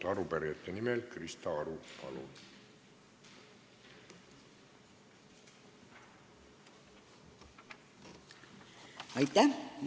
Arupärijate nimel Krista Aru, palun!